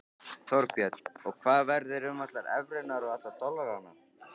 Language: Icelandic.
Þorbjörn: Og hvað verður um allar evrurnar og alla dollarana?